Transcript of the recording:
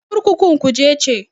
Kurkukun Kuje ce.